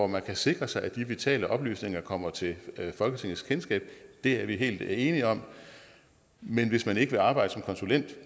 man kan sikre sig at de vitale oplysninger kommer til folketingets kendskab det er vi helt enige om men hvis man ikke vil arbejde som konsulent